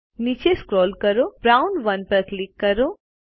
નીચે સ્ક્રોલ કરો અને બ્રાઉન 1 પર ક્લિક કરો